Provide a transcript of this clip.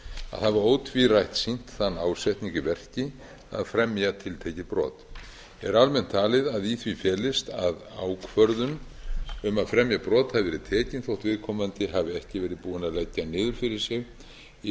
að hafa ótvírætt sýnt þann ásetning í verki að fremja tiltekið brot er almennt talið að í því felist að ákvörðun um að fremja brot hafi verið tekin þótt viðkomandi hafi ekki verið búinn að leggja niður